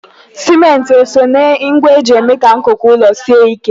Simenti o soo na ngwa eji eme ka nkuku ụlọ sie ike?